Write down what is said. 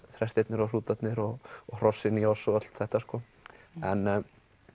þrestirnir og hrútarnir og hrossin í oss og allt þetta sko en